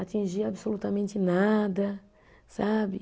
Atingir absolutamente nada, sabe?